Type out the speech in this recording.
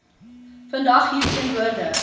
vandag hier teenwoordig